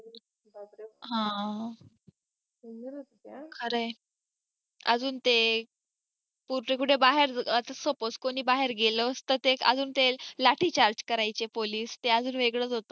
हा खरंय अजून ते रोजच कुठे बाहेर आता suppose कोणी बाहेर गेलं तर अजून ते लाठी charge करायचे police ते अजून वेगळेच होते